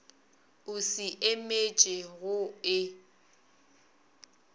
o se emiše go e